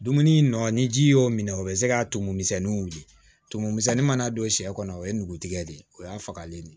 Dumuni nɔ ni ji y'o minɛ o bɛ se ka tumu misɛnnin wili tumu misɛnnin mana don sɛ kɔnɔ o ye nugu tigɛ de o y'a fagalen ye